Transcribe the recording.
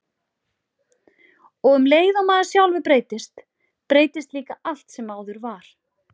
Og um leið og maður sjálfur breytist, breytist líka allt sem áður var.